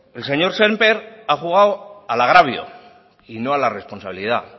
el señor sémper ha jugado al agravio y no a la responsabilidad